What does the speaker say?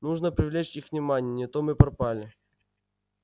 нужно привлечь их внимание не то мы пропали